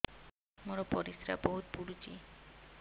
ମୋର ପରିସ୍ରା ବହୁତ ପୁଡୁଚି